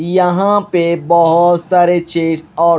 यहाँ पे बहोत सारे चेस और --